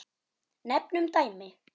Nefnum dæmi.